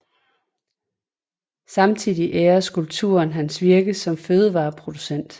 Samtidig ærer skulpturen hans virke som fødevareproducent